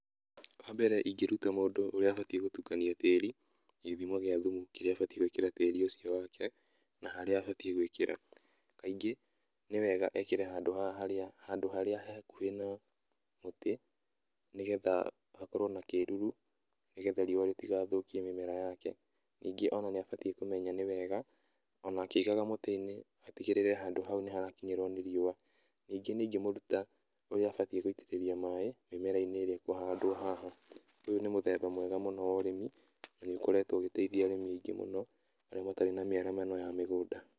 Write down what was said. Wa mbere ingĩruta mũndũ ũrĩa abatairie gũtũkania tĩri na githimo gĩa thumu kĩrĩa abatie gwikĩra tĩri ũcio wake, na harĩa abatie gwĩkĩra. Kaingi, nĩ wega ekĩre handũ haha harĩa, handũ harĩa he hakuhĩ na mũtĩ, nĩgetha hakorwo na kĩruru, nĩgetha riũa rĩtigathũkie mĩmera yake. Ningĩ ona niabatie kũmenya nĩ wega ona akĩigaga mũtĩ-inĩ atĩgĩrĩre handũ hau nĩharakinyĩrwo nĩ riũa. Ningĩ nĩ-ingĩmũruta ũrĩa abataire gũitĩrĩrĩa maĩ mĩmera-inĩ ĩrĩa ĩkũhandwo haha. Ũyũ nĩ mũthemba mwega mũno wa ũrĩmi, na nĩũkoretwo ũgĩteithia arĩmi aingĩ mũno, arĩa matarĩ na mĩaramano ya mĩgũnda.